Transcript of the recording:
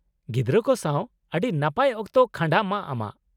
ᱜᱤᱫᱽᱨᱟᱹ ᱠᱚ ᱥᱟᱶ ᱟᱹᱰᱤ ᱱᱟᱯᱟᱭ ᱚᱠᱛᱚ ᱠᱷᱟᱸᱰᱟᱸᱜ ᱢᱟ ᱟᱢᱟᱜ ᱾